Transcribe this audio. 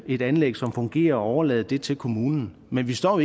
et anlæg som fungerer og overlade det til kommunen men vi står jo